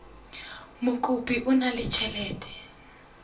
mokopi o na le ditjhelete